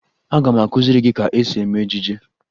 Aga m akụziri gị ka esi eme ejije